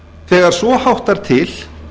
þegar svo háttar til